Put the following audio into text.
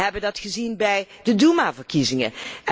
Wij hebben dat gezien bij de Doema verkiezingen.